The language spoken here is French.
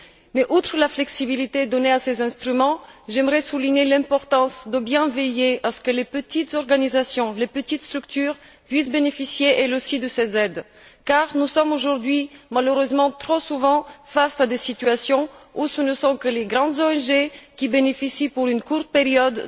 Mais outre la flexibilité donnée à ces instruments, j'aimerais souligner l'importance de bien veiller à ce que les petites organisations, les petites structures puissent bénéficier elles aussi de ces aides car nous sommes aujourd'hui malheureusement trop souvent face à des situations où seules les grandes ONG en bénéficient, et ce pour une courte période.